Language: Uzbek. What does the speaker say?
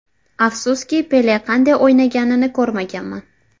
Afsuski, Pele qanday o‘ynaganini ko‘rmaganman.